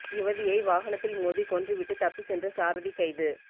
யுவதியை வாகனத்தில் மோதி கொன்று விட்டு தப்பி சென்ற சாரதி கைது